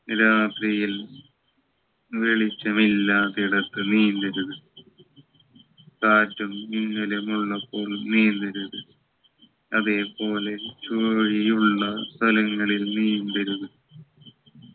രാത്രിയിൽ വെളിച്ചമില്ലാത്തിടത്ത് നീന്തരുത് കാറ്റും മിന്നലും ഉള്ളപ്പോൾ നീന്തരുത് അതേ പോലെ ചൂഴിയുള്ള സ്ഥലങ്ങളിൽ നീന്തരുത്